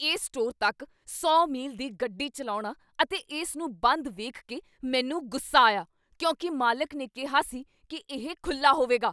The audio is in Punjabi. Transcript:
ਇਸ ਸਟੋਰ ਤੱਕ ਸੌ ਮੀਲ ਦੀ ਗੱਡੀ ਚੱਲਾਉਣਾ ਅਤੇ ਇਸ ਨੂੰ ਬੰਦ ਵੇਖ ਕੇ ਮੈਨੂੰ ਗੁੱਸਾ ਆਇਆ ਕਿਉਂਕਿ ਮਾਲਕ ਨੇ ਕਿਹਾ ਸੀ ਕੀ ਇਹ ਖੁੱਲ੍ਹਾ ਹੋਵੇਗਾ